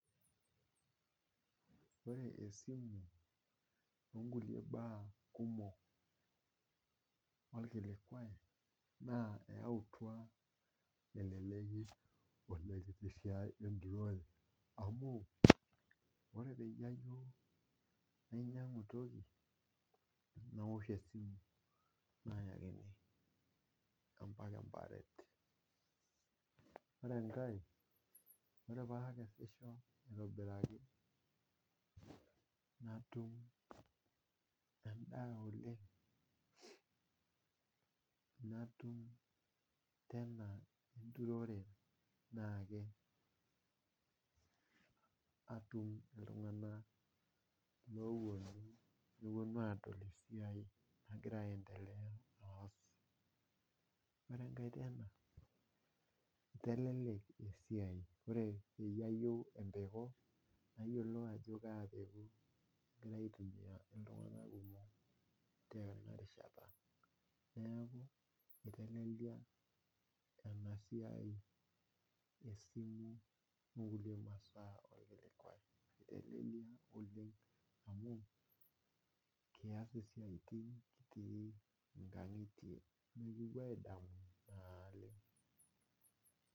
Ore esimu onkule baa kumok olkilikwai naa eyautwa eleleki olengi esiai enkikore amuu ore peyie ajo ainyang'u entoki nmiosh esimu naayakini embaa enkipaaret, ore enkae ore paakeshisho aitobiraki natum endaa oleng, natum tena nturore, naake atum ltungana looponu aadol esiai nagira aientelea aas, ore enkae peneu eitelelek esiai, ore peyie ateu empeko, nayiolou ajo kaa empeku alo aitumiya ltungana tena rishataneaku eitelelia ena esiimu onkule masaa olkilikwai, eitelelia amuu kiyas esiai teine kitii inkang'itie nipopo aadamu naaleng'.